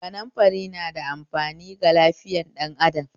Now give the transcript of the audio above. Kanumfari na da amfani ga lafiyar ɗan adam